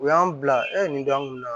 U y'an bila nin don an kun na